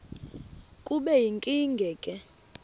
kube yinkinge ke